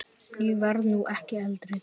Ég verð nú ekki eldri!